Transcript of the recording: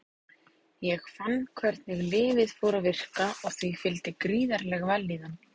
Ég fann hvernig lyfið fór að virka og því fylgdi gríðarleg vellíðan.